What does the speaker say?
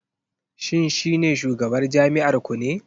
Shin shi ne shugabar jami'ar ku ne?